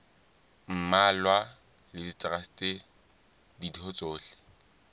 mmalwa le traste ditho tsohle